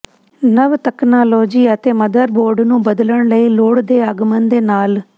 ਨਵ ਤਕਨਾਲੋਜੀ ਅਤੇ ਮਦਰਬੋਰਡ ਨੂੰ ਬਦਲਣ ਲਈ ਲੋੜ ਦੇ ਆਗਮਨ ਦੇ ਨਾਲ